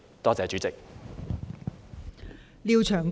多謝代理主席。